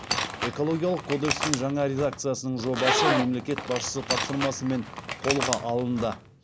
экологиялық кодекстің жаңа редакциясының жобасы мемлекет басшысы тапсырмасымен қолға алынды